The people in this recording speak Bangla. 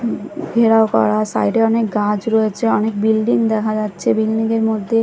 ঘেরাও করা সাইড -এ অনেক গাছ রয়েছে অনেক বিল্ডিং দেখা যাচ্ছে বিল্ডিং -এর মধ্যে--